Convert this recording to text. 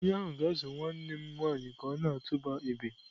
Onye ahụ ga-azụ nwanne m nwanyị ka ọ na-atụba egbe.